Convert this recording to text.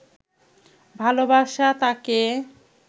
ভালোবাসা তাকে